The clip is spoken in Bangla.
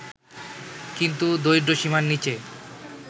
কিন্তু দরিদ্রসীমার নিচে